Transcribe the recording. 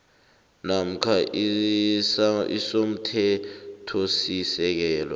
namkha i somthethosisekelo